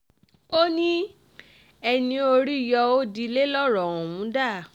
o ní ẹni orí yọ ó dilẹ̀ lọ́rọ̀ ọ̀hún dà